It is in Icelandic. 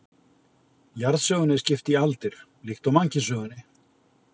Jarðsögunni er skipt í aldir líkt og mannkynssögunni.